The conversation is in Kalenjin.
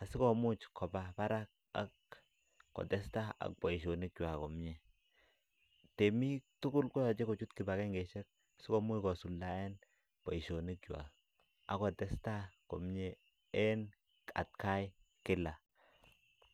asikomuuch kobaa Barak ak kotestai ak boisionik kwaak komyei temiik tugul koyachei kochuut kibangengei isheek sikomuuch kosuldaen boisionik ako testai en at Kai kila.